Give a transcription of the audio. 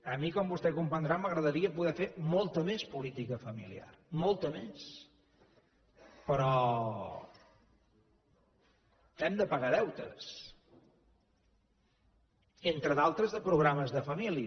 a mi com vostè comprendrà m’agradaria poder fer molta més política familiar molta més però hem de pagar deutes entre d’altres de programes de família